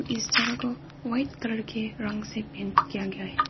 इस जगह को व्हाइट कलर के रंग से पेंट किया गया है।